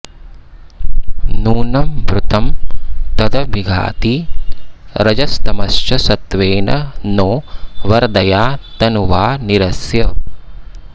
नूनं भृतं तदभिघाति रजस्तमश्च सत्त्वेन नो वरदया तनुवा निरस्य